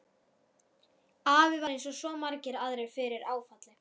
Afi varð eins og svo margir aðrir fyrir áfalli.